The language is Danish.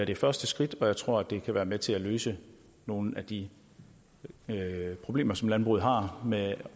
det første skridt og jeg tror at det kan være med til at løse nogle af de problemer som landbruget har med